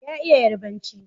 Ya iya Yarabanci.